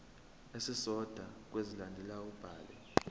esisodwa kwezilandelayo ubhale